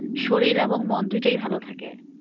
শরীর এবং মন দুইটোই ভাল থাকে।